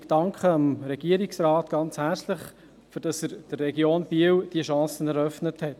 Ich danke dem Regierungsrat ganz herzlich, dass er der Region Biel diese Chance eröffnet hat.